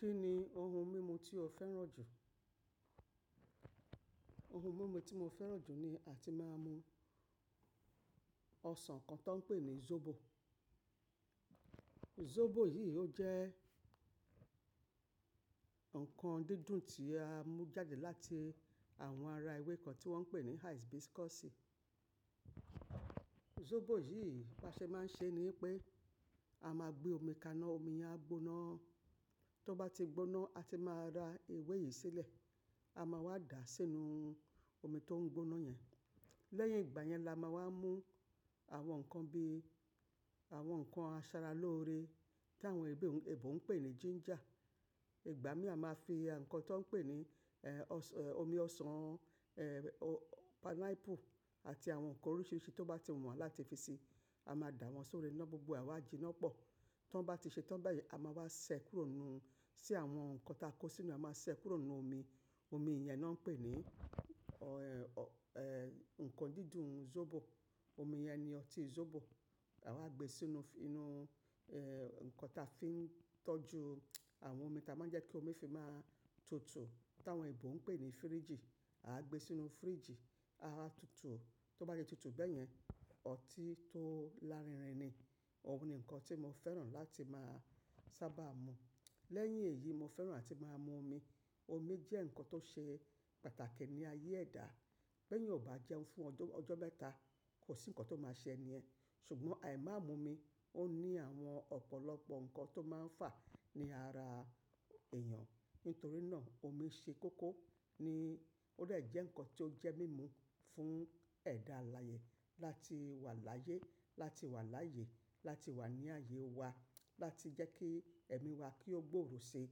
Kí ni ohun mímu tí o fẹ́ràn jù? Ohun mímu tí mo fẹ́ràn jù ni àti máa ń mu ọsàn kan tó ń pè ní zobo. Zobo yìí ó jẹ́ ǹkan dídùn tí a mú jáde láti àwọn ara ewé kan tí wọ́n ń pè ní hibiscus. Zobo yìí, bó ṣe máa ń ṣe ni pé a máa gbé omi kaná, omi yẹn á gbóná. Tó bá ti gbóná, a ti máa ra ewé yìí sílẹ̀. A máa wá dà á sínú omi tó ń gbóná yẹn. Lẹ́yìn ìgbà yẹn la máa wá mú àwọn ǹkan bí àwọn ǹkan asara lóore tí àwọn ẹgbẹ́ òún, èebó ń pè ní ginger. Ìgbà mí à máa fi ǹkan tó ń pè ní, ẹ́, ọsàn, ẹ́, omi ọsàn, ẹ́, pineapple àti àwọn ǹkan oríṣiríṣi tó bá ti wù wá láti fi si, a máa dà wọ́n sórí iná gbogbo, àwa jí iná pọ̀. Tó bá ti ṣe tán bẹ́ẹ̀ yẹn, a máa wá ṣẹ kúrò nínú, sí àwọn ǹkan táa kó sínú, a máa ṣẹ kúrò nínú omi. Omi yẹn ná ń pè ní, ọ́ ẹ́, ǹkan dídùn zobo. Omi yẹn ni ọtí zobo. Àwa gbé e sínú inú, ẹ́, ǹkan táa fi ń tọ́jú àwọn omi táa máa ń jẹ́ kí omi fi máa tutù, tí àwọn èbó ń pè ní fíríjì. À gbé e sínú fíríjì, á wá tutù. Tó bá di tutù bẹ́ẹ̀ yẹn, ọtí tó lárinrin ni. Òun ni ǹkan tí mo fẹ́ràn láti máa sábà mu. Lẹ́yìn èyí, mo fẹ́ràn àti máa mu omi. Omi jẹ́ ǹkan tó ṣe pàtàkì ní ayé ẹ̀dá. Tó bá jẹun fún ọjọ́ mẹ́ta, kò sí ǹkan tó máa ṣẹ ni ẹ́. Ṣùgbọ́n àì máa mu omi, ó ní àwọn ọ̀pọ̀lọpọ̀ ǹkan tó máa ń fà ní ara èèyàn. Nítorí náà omi ṣe kókó ní ó rẹ̀ jẹ́ ǹkan tó jẹ́ mímu fún ẹ̀dá alàyè. Láti wà láyé, láti wà láàyè, láti wà ní àyè wá, láti jẹ́ kí ẹ̀mí wá kí ó gbòòrò ṣi.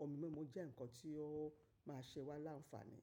Omi mímu jẹ́ ǹkan tí ó máa ṣe wá láǹfààní.